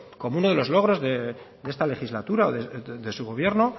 como uno de los logros de esta legislatura o de su gobierno